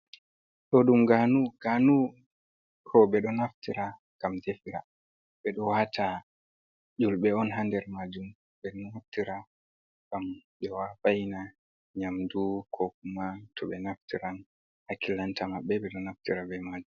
Ɗo ɗum ganu, ganu ko ɓeɗo naftira ngam defira, ɓeɗo wata nyulɓe on hander majum, beɗo naftira ngam ɓe wa vaina nyamdu, kokuman to ɓe naftiran hakilanta maɓɓe ɓeɗo naftira be majum.